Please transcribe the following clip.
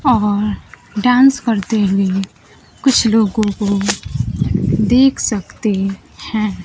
और डांस करते हुए कुछ लोगों को देख सकते है।